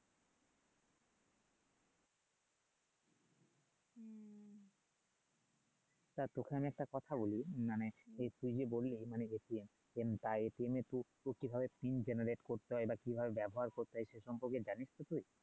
তা তোকে আমি একটা কথা বলি মানে এই তুই যে বললি মানে বা এ তো কিভাবে করতে হয় বা কিভাবে ব্যবহার করতে হয় তাই সে সম্পর্কে জানিস তো তুই